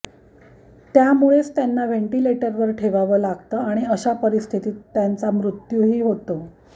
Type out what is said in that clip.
त्यामुळेच त्यांना व्हेंटिलेटरवर ठेवावं लागतं आणि अशा परिस्थिती त्यांचा मृत्यूही होतो